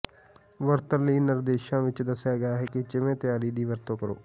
ਵਰਤਣ ਲਈ ਨਿਰਦੇਸ਼ਾਂ ਵਿੱਚ ਦੱਸਿਆ ਗਿਆ ਹੈ ਜਿਵੇਂ ਤਿਆਰੀ ਦੀ ਵਰਤੋਂ ਕਰੋ